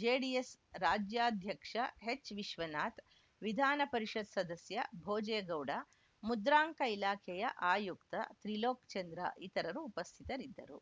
JDS ರಾಜ್ಯಾಧ್ಯಕ್ಷ ಎಚ್‌ವಿಶ್ವನಾಥ್‌ ವಿಧಾನಪರಿಷತ್‌ ಸದಸ್ಯ ಭೋಜೇಗೌಡ ಮುದ್ರಾಂಕ ಇಲಾಖೆಯ ಆಯುಕ್ತ ತ್ರಿಲೋಕ್‌ ಚಂದ್ರ ಇತರರು ಉಪಸ್ಥಿತರಿದ್ದರು